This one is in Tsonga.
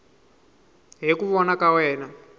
hi ku vona ka wena